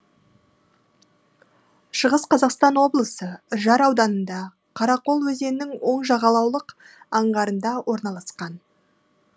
шығыс қазақстан облысы үржар ауданында қарақол өзенінің оң жағалаулық аңғарында орналасқан